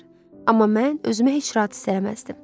Amma mən özümü heç rahat hiss eləməzdim.